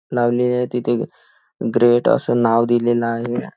लावलेली आहे तिथे ग्रेट असं नाव दिलेलं आहे.